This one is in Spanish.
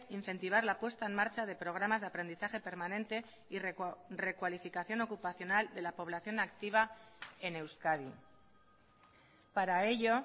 incentivar la puesta en marcha de programas de aprendizaje permanente y recualificación ocupacional de la población activa en euskadi para ello